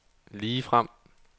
ligefrem